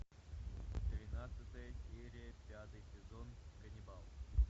тринадцатая серия пятый сезон ганнибал